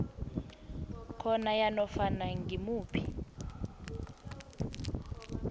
khona yanofana ngimuphi